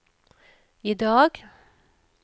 idag